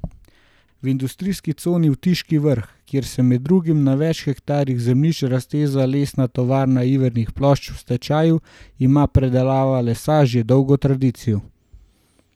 V industrijski coni Otiški Vrh, kjer se med drugim na več hektarjih zemljišč razteza Lesna tovarna ivernih plošč v stečaju, ima predelava lesa že dolgo tradicijo.